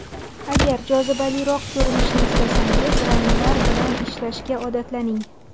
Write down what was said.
Agar jozibaliroq ko‘rinishni istasangiz, ranglar bilan ishlashga odatlaning.